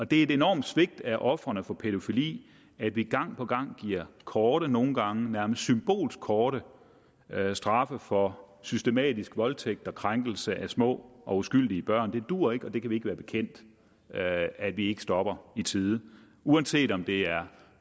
det er et enormt svigt af ofrene for pædofili at vi gang på gang giver korte nogle gange nærmest symbolsk korte straffe for systematisk voldtægt og krænkelse af små og uskyldige børn det duer ikke og vi kan ikke være bekendt at vi ikke stopper i tide uanset om det er